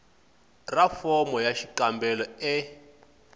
ra fomo ya xikombelo e